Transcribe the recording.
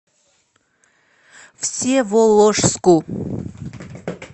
всеволожску